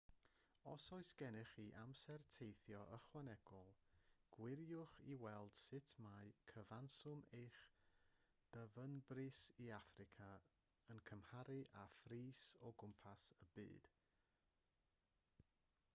os oes gennych chi amser teithio ychwanegol gwiriwch i weld sut mae cyfanswm eich dyfynbris i affrica yn cymharu â phris o gwmpas y byd